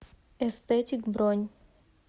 эстетик бронь